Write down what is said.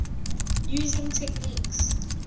using techniques